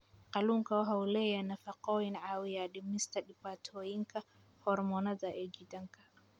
Kalluunku waxa uu leeyahay nafaqooyin caawiya dhimista dhibaatooyinka hormoonnada ee jidhka.